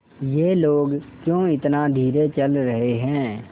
ये लोग क्यों इतना धीरे चल रहे हैं